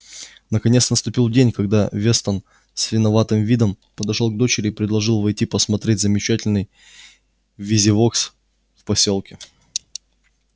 наконец наступил день когда вестон с виноватым видом подошёл к дочери и предложил войти посмотреть замечательный визивокс в посёлке